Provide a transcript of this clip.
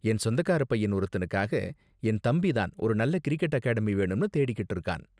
என் சொந்தக்காரப் பையன் ஒருத்தனுக்காக என் தம்பி தான் ஒரு நல்ல கிரிக்கெட் அகாடமி வேணும்னு தேடிக்கிட்டு இருக்கான்.